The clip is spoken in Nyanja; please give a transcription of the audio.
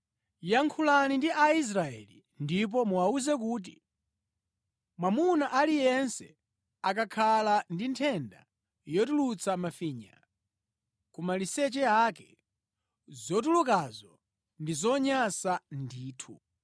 “Yankhulani ndi Aisraeli ndipo muwawuze kuti, ‘Mwamuna aliyense akakhala ndi nthenda yotulutsa mafinya ku maliseche ake, zotulukazo ndi zonyansa ndithu.